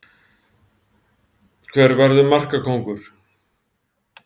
Hver verður markakóngur?